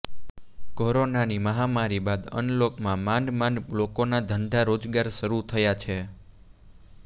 કોરોનાની મહામારી બાદ અનલોકમાં માંડ માંડ લોકોના ધંધા રોજગાર શરૂ થયા છે